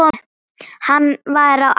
Hann var á aldur við